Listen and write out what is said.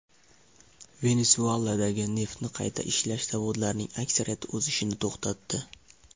Venesueladagi neftni qayta ishlash zavodlarining aksariyati o‘z ishini to‘xtatdi.